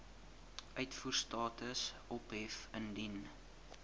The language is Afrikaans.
uitvoerstatus ophef indien